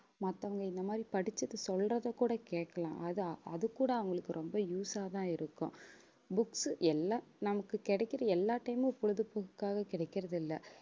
மத்தவங்க இந்த மாதிரி படிச்சதை, சொல்றதை கூட கேட்கலாம். அதை அது கூட அவங்களுக்கு ரொம்ப use ஆதான் இருக்கும் books எல்லாம் நமக்கு கிடைக்கிற எல்லாத்தையுமே பொழுதுபோக்காக கிடக்கிறது இல்லை